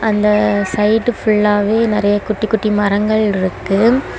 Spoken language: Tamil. அந்த சைடு ஃபுல்லாவே நறைய குட்டி குட்டி மரங்கள் இருக்கு.